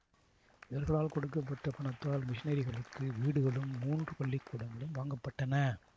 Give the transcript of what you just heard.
இவர்களால் கொடுக்க பட்ட பணத்தால் மிஷனரிகளுக்கு வீடுகளும் மூன்று பள்ளிக்கூடங்களும் வாங்கப்பட்டன